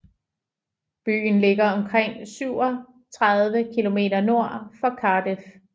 Byen ligger omkring 37 kmnord for Cardiff